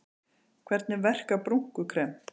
Hvernig verkar brúnkukrem?